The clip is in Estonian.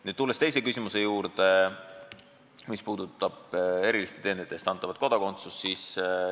Nüüd aga teine küsimus, mis puudutas eriliste teenete eest antavat kodakondsust.